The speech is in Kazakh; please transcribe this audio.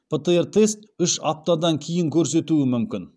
птр тест үш аптадан кейін көрсетуі мүмкін